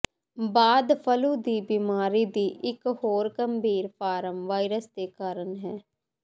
ਬਾਅਦ ਫਲੂ ਦੀ ਬਿਮਾਰੀ ਦੀ ਇੱਕ ਹੋਰ ਗੰਭੀਰ ਫਾਰਮ ਵਾਇਰਸ ਦੇ ਕਾਰਨ ਹੈ